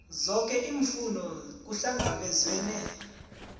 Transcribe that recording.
zoke iimfuno kuhlangabezwene